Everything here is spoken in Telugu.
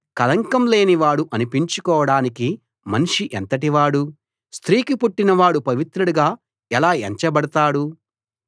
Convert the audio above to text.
కళంకం లేనివాడు అనిపించుకోడానికి మనిషి ఎంతటివాడు స్త్రీకి పుట్టినవాడు పవిత్రుడుగా ఎలా ఎంచబడతాడు